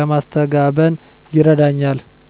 ለማስተጋበን ይረዳኛል።